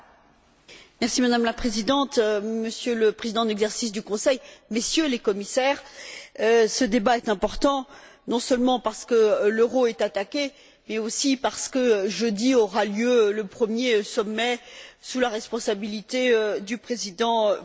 Madame la Présidente, Monsieur le Président en exercice du Conseil, Messieurs les Commissaires, ce débat est important, non seulement parce que l'euro est attaqué, mais aussi parce que jeudi aura lieu le premier sommet sous la responsabilité du président Van Rompuy.